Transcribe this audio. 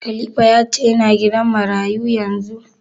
Khalifa ya ce yana gidan marayu yanzu?